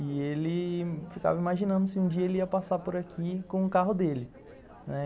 E ele... ficava imaginando se um dia ele ia passar por aqui com o carro dele. Não é?